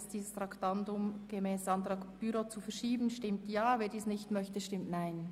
Wer dem Antrag 18 zustimmt, stimmt Ja, wer diesen ablehnt, stimmt Nein.